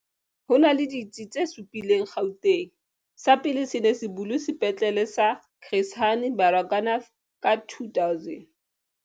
Ho na le ditsi tse supileng Gauteng. Sa pele se ne se bulwe Sepetlele sa Chris Hani Baragwanath ka 2000.